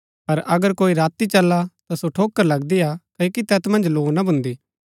पर अगर कोई राती चला ता ठोकर लगदी ही हा क्ओकि तैत मन्ज लौ ना भून्दी